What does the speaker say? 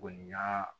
Kɔni y'aa